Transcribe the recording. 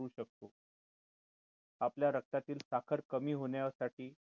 आपल्या रक्तातील साखर कमी होण्यासाठी